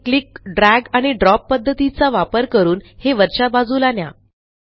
आणि click drag आणि drop पध्दतीचा वापर करून हे वरच्या बाजूला न्या